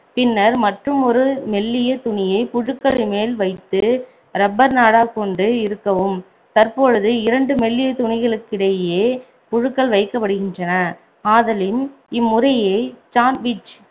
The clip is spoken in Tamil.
பின்னர் மற்றுமொரு மெல்லிய துணியை புழுக்களின் மேல் வைத்து rubber நாடா கொண்டு இறுக்கவும் தற்பொழுது இரண்டு மெல்லிய துணிகளுக்கிடையே புழுக்கள் வைக்கப்படுகின்றன ஆதலின் இம்முறையை sandwich